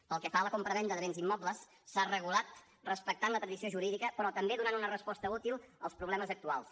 pel que fa a la compravenda de béns immobles s’ha regulat respectant la tradició jurídica però també donant una resposta útil als problemes actuals